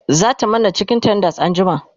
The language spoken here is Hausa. zata mana cikin tenders anjima